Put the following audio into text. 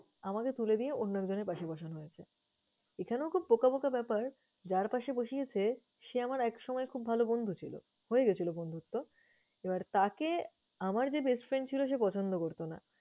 আমাকে তুলে দিয়ে অন্য একজনের পাশে বসানো হয়েছে। এছাড়াও খুব বোকা বোকা ব্যাপার, যার পাশে বসিয়েছে সে আমার একসময়ের খুব ভালো বন্ধু ছিল, হয়ে গেছিল বন্ধুত্ব, এবার তাকে আমার যে best friend ছিল সে পছন্দ করত না।